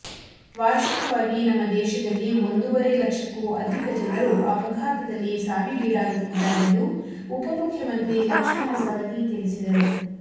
ವಾರ್ಷಿಕವಾಗಿ ನಮ್ಮ ದೇಶದಲ್ಲಿ ಒಂದೂವರೆ ಲಕ್ಷಕ್ಕೂ ಅಧಿಕ ಜನರು ಅಪಘಾತದಲ್ಲಿ ಸಾವಿಗೀಡಾಗುತ್ತಿದ್ದಾರೆಂದು ಉಪಮುಖ್ಯಮಂತ್ರಿ ಲಕ್ಷ್ಮಣ ಸವದಿ ತಿಳಿಸಿದರು